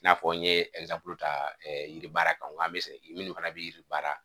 I n'a fɔ n ye ta yiri baara kan ŋ'an be se minnu fana be yiri baara